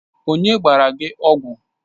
Onye gbara gi ọgwụ?